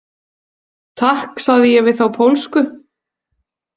Takk, sagði ég við þá pólsku.